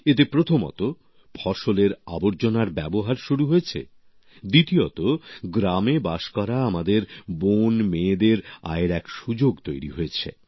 এতে প্রথমত ফসলের আবর্জনার ব্যবহার শুরু হয়েছে দ্বিতীয়তঃ গ্রামে বাস করা আমাদের বোনমেয়েদের আয়ের এক সুযোগ তৈরি হয়েছে